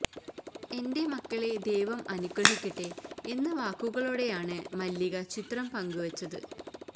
എന്റെ മക്കളെ ദൈവം അനുഗ്രഹിക്കട്ടെ എന്ന വാക്കുകളോടൊയാണ് മല്ലിക ചിത്രം പങ്കുവച്ചത്